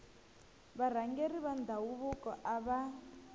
varhangeri va ndhavuko a va